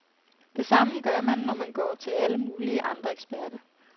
Det samme gør man, når man går til alle mulige andre eksperter.